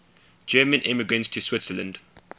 german immigrants to switzerland